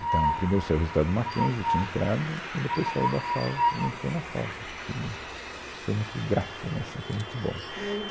Então, primeiro saiu o resultado do MacKenzie, eu tinha entrado, aí depois saiu o da FAO, e eu entrei na FAO, o que foi muito grato, né, assim, foi muito bom.